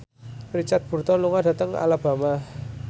Richard Burton lunga dhateng Alabama